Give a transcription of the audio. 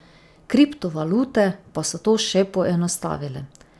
Kriptovalute pa so to še poenostavile.